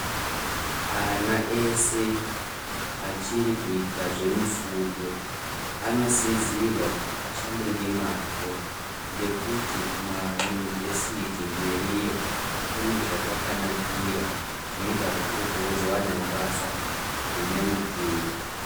Ana eshe achiri kuita zvemufundo anosisirwa kuti afunde nemazvo ngekuti kumaunivhesiti mberiyo kune zvakakwanakira kunoita kuti ugozowanawo basa rine muturo.